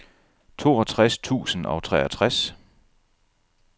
toogtres tusind og treogtres